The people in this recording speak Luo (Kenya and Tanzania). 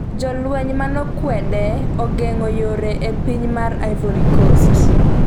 Jolweny manekwede ogeng'o yore e piny mar Ivory Coast